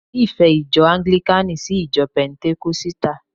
Mo nífẹ̀ẹ́ ìjọ anglikani sí ìjọ pentenkosita